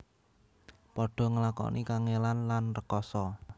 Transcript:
Padha ngelakoni kangèlan lan rekasa